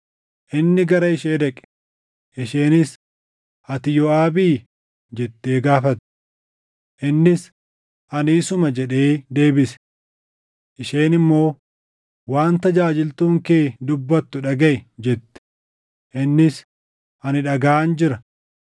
Inni gara ishee dhaqe; isheenis, “Ati Yooʼaabii?” jettee gaafatte. Innis, “Ani isuma” jedhee deebise. Isheen immoo, “Waan tajaajiltuun kee dubbattu dhagaʼi” jette. Innis, “Ani dhagaʼaan jira.”